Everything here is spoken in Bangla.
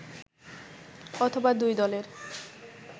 অথবা দুই দলের